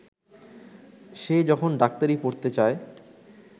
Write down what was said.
সে যখন ডাক্তারি পড়তে চায়